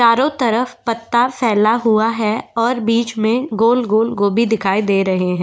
चारों तरफ पत्ता फैला हुआ है और बीच में गोल-गोल गोभी दिखाई दे रहे हैं।